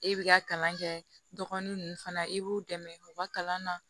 E bi ka kalan kɛ dɔgɔnun nunnu fana i b'u dɛmɛ u ka kalan na